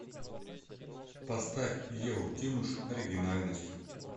поставь еву тимуш оригинальность